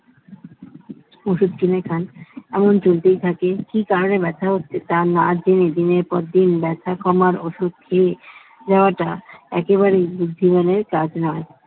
ওষুধ কিনে খান এমন চলতেই থাকে কি কারনে ব্যথা হচ্ছে তা না জেনে দিনের পর দিন ব্যথা কমার ওষুধ খেয়ে নেওয়াটা একেবারেই বুদ্ধিমানের কাজ নয়